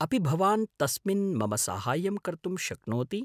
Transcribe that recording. अपि भवान् तस्मिन् मम साहाय्यं कर्तुं शक्नोति?